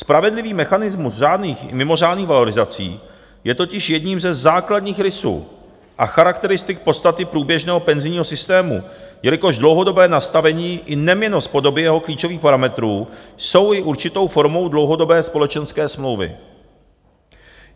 Spravedlivý mechanismus mimořádných valorizací je totiž jedním ze základních rysů a charakteristik podstaty průběžného penzijního systému, jelikož dlouhodobé nastavení i neměnnost podoby jeho klíčových parametrů jsou i určitou formou dlouhodobé společenské smlouvy.